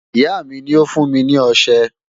Ìyá mi ni ó fún mi ní ọṣẹ.